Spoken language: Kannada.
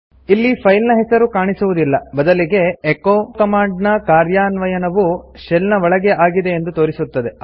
ಇಲ್ಲಿ ಫೈಲ್ ನ ಹೆಸರು ಕಾಣಿಸುವುದಿಲ್ಲ ಬದಲಿಗೆ ಎಚೊ ಕಮಾಂಡ್ ನ ಕಾರ್ಯಾನ್ವಯನವು ಶೆಲ್ ನ ಒಳಗೆ ಆಗಿದೆ ಎಂದು ತೋರಿಸುತ್ತದೆ